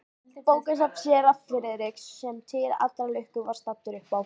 Bókasafn séra Friðriks, sem til allrar lukku var staddur uppá